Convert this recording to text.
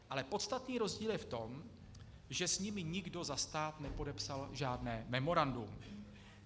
Ale podstatný rozdíl je v tom, že s nimi nikdo za stát nepodepsal žádné memorandum.